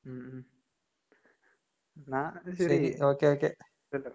ഉം ഉം. എന്നാ ശെരി.